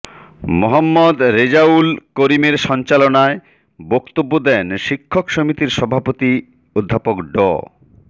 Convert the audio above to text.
মোহাম্মদ রেজাউল করিমের সঞ্চালনায় বক্তব্য দেন শিক্ষক সমিতির সভাপতি অধ্যাপক ড